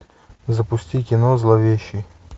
запусти кино зловещий